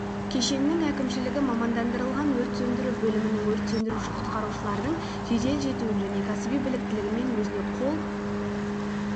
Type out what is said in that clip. кешеннің әкімшілігі мамандандырылған өрт сөндіру бөлімінің өрт сөндіруші-құтқарушылардың жедел жетуін және кәсіби біліктілігімен өзіне қол